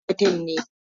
Haruna banzan mutum ne.